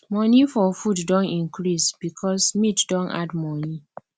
money for food don increase because meat don add money